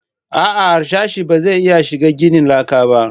A'a harsashe ba zai iya shiga ginin laka ba